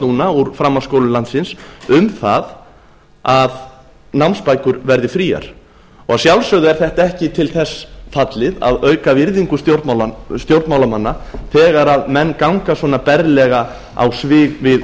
núna úr framhaldsskólum landsins um það að námsbækur verði fríar að sjálfsögðu er þetta ekki til þess fallið að auka virðingu stjórnmálamanna þegar menn ganga svona berlega á svig við